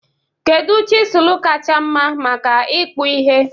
Kedu chịzụlụ kacha mma maka ìkpụ̀ ihe?